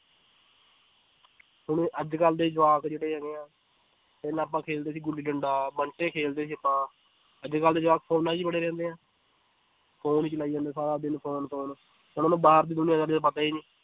ਹੁਣ ਅੱਜ ਕੱਲ੍ਹ ਦੇ ਜਵਾਕ ਜਿਹੜੇ ਹੈਗੇ ਹੈ, ਪਹਿਲਾਂ ਆਪਾਂ ਖੇਡਦੇ ਸੀ ਗੁੱਲੀ ਡੰਡਾ ਬੰਟੇ ਖੇਡਦੇ ਸੀ ਆਪਾਂ ਅੱਜ ਕੱਲ੍ਹ ਦੇ ਜਵਾਕ ਫ਼ੋਨਾਂ ਵਿੱਚ ਹੀ ਬੜੇ ਰਹਿੰਦੇ ਹੈ phone ਹੀ ਚਲਾਈ ਜਾਂਦੇ ਹੈ ਸਾਰਾ ਦਿਨ phone phone ਉਹਨਾਂ ਨੂੰ ਬਾਹਰ ਦੀ ਦੁਨੀਆਂ ਦਾ ਪਤਾ ਹੀ ਨੀ